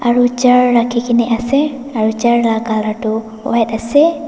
aru chair rakhina kena ase aru chair la colour tu white ase.